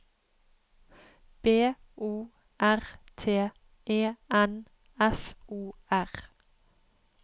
B O R T E N F O R